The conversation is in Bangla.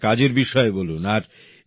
আপনার কাজের বিষয়ে বলুন